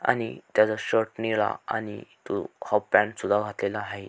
आणि त्याचा शर्ट निळा आणि तो हाफ पॅंट सुद्धा घातलेला हाये.